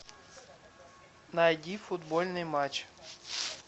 найди футбольный матч